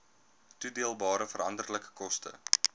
toedeelbare veranderlike koste